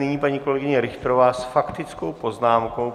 Nyní paní kolegyně Richterová s faktickou poznámkou.